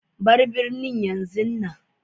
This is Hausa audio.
Bar birnin yanzun nan.